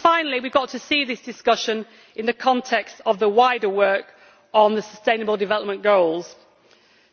Finally, we have got to see this discussion in the context of the wider work on the Sustainable Development Goals